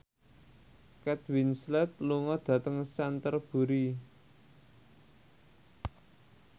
Kate Winslet lunga dhateng Canterbury